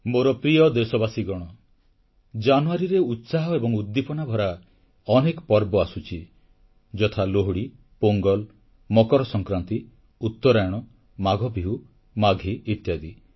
ମୋର ପ୍ରିୟ ଦେଶବାସୀଗଣ ଜାନୁୟାରୀରେ ଉତ୍ସାହ ଏବଂ ଉଦ୍ଦୀପନାଭରା ଅନେକ ପର୍ବପର୍ବାଣୀ ଆସୁଛି ଯଥା ଲୋହଡ଼ି ପୋଙ୍ଗଲ ମକର ସଂକ୍ରାନ୍ତି ଉତ୍ତରାୟଣ ମାଘ ବିହୁ ମାଘୀ ଇତ୍ୟାଦି